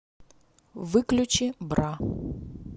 выключи бра